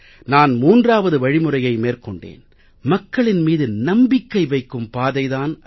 நான் 3வது வழிமுறையை மேற்கொண்டேன் மக்களின் மீது நம்பிக்கை வைக்கும் பாதை தான் அது